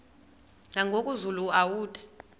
nangoku zulu uauthi